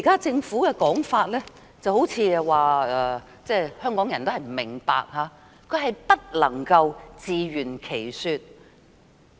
政府現時的說法，好像都是說香港人不明白，根本無法自圓其說。